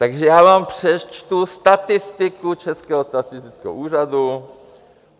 Takže já vám přečtu statistiku Českého statistického úřadu.